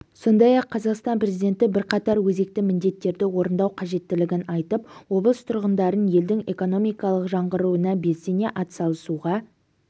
сондай-ақ қазақстан президенті бірқатар өзекті міндеттерді орындау қажеттігін айтып облыс тұрғындарын елдің экономикалық жаңғыруына белсене атсалысуға